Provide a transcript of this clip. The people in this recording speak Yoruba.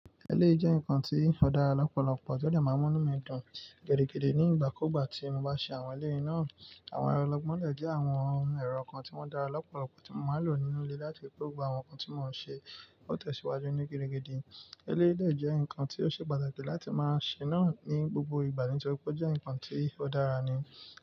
Eléyi jẹ́ ǹkan tí ó dára lọ́pọ̀lọpọ̀, tó dẹ́ máa inú mí dùn gidigidi ní ìgbà kúgbà tí mo bá ṣe àwọn eléyi náà. Àwọn ẹrọ gbọ̀nlẹ̀ jẹ́ àwọn ẹ̀rọ kan tí wọ́n dára lọ́pọ̀lọpọ̀ tí mo máa lò nínú ilé láti fi gbó àwọn nǹkan tí mò ń ṣe, ó tẹ̀síwájú ní gidigidi. Eléyi lè jẹ́ ǹkan tí ó ṣe pàtàkì láti máa ṣe náà ní gbogbo ìgbà nítorí pé ó jẹ́ ǹkan tí ó dára ni.